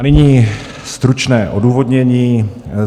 A nyní stručné odůvodnění.